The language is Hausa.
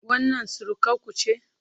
Wannan surukarku ce?